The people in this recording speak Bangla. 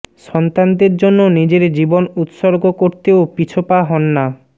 সন্তানদের জন্য নিজের জীবন উৎসর্গ করতেও পিছ পা হন না